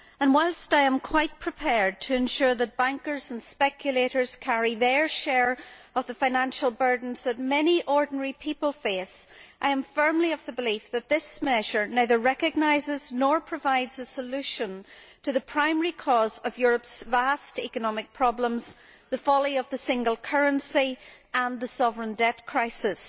Whilst I am quite prepared to ensure that bankers and speculators carry their share of the financial burdens that many ordinary people face, I am firmly of the belief that this measure neither recognises, nor provides a solution to, the primary cause of Europe's vast economic problems the folly of the single currency and the sovereign debt crisis.